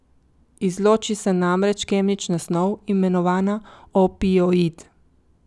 Izloči se namreč kemična snov, imenovana opioid.